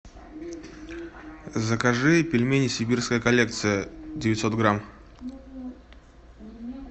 закажи пельмени сибирская коллекция девятьсот грамм